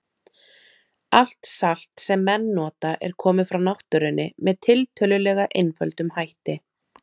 Allt salt sem menn nota er komið frá náttúrunni með tiltölulega einföldum hætti.